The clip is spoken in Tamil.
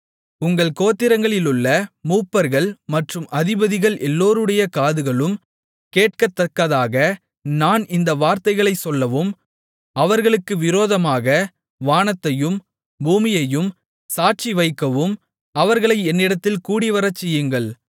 உங்கள் கோத்திரங்களிலுள்ள மூப்பர்கள் மற்றும் அதிபதிகள் எல்லோருடைய காதுகளும் கேட்கத்தக்கதாக நான் இந்த வார்த்தைகளைச் சொல்லவும் அவர்களுக்கு விரோதமாக வானத்தையும் பூமியையும் சாட்சிவைக்கவும் அவர்களை என்னிடத்தில் கூடிவரச்செய்யுங்கள்